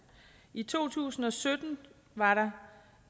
i to tusind og sytten var der